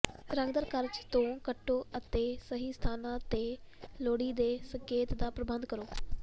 ਰੰਗਦਾਰ ਕਾਗਜ਼ ਤੋਂ ਕੱਟੋ ਅਤੇ ਸਹੀ ਸਥਾਨਾਂ ਤੇ ਲੋੜੀਂਦੇ ਸੰਕੇਤਾਂ ਦਾ ਪ੍ਰਬੰਧ ਕਰੋ